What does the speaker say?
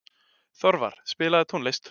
Þorvar, spilaðu tónlist.